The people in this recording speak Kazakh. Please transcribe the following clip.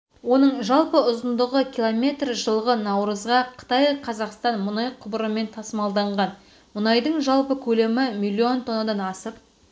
оның жалпы ұзындығы километр жылғы наурызға қытай-қазақстан мұнай құбырымен тасымалданған мұнайдың жалпы көлемі миллион тоннадан асып